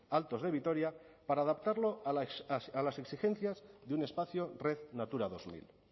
altos de vitoria para adaptarlo a las exigencias de un espacio red natura dos mil